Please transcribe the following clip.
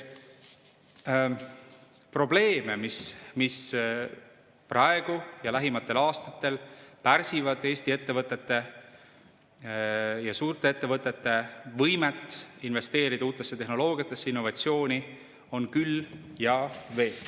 Probleeme, mis praegu ja lähematel aastatel pärsivad Eesti ettevõtete ja suurte ettevõtete võimet investeerida uutesse tehnoloogiatesse ning innovatsiooni, on küll ja veel.